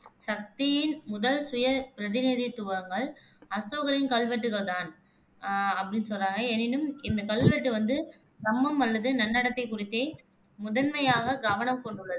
சக்தியின் முதல் சுய பிரதிநிதித்துவங்கள் அசோகரின் கல்வெட்டுகள் தான் ஆஹ் அப்படின்னு சொல்றாங்க எனினும் இந்தக் கல்வெட்டு வந்து தம்மம் அல்லது நன்னடத்தை குறித்தே முதன்மையாகக் கவனம் கொண்டுள்ளன.